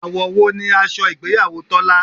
Àwọ̀ wo ni aṣọ ìgbéyàwó Tọ́lá?